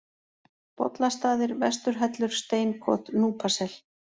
Bollastaðir, Vestur-Hellur, Steinkot, Núpasel